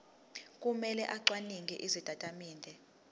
kumele acwaninge izitatimende